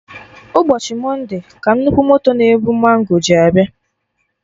Ụbọchị monde ka nnukwu moto na-ebu mango ji abịa